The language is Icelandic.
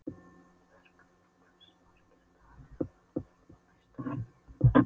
Bergþór, hversu margir dagar fram að næsta fríi?